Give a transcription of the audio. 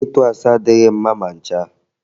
Ịtụ asị adịghị mma ma ncha